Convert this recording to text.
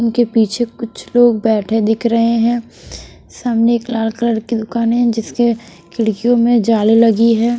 उनके पीछे कुछ लोग बैठे दिख रहे हैं सामने एक लाल कलर की दुकान है जिसके खिड़कियों में जाले लगी है।